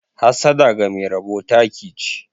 Hassada ga Mai rabo taki che.